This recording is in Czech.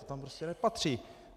To tam prostě nepatří.